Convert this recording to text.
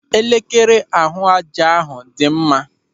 Elekere ahụ ájá hụ dị mma.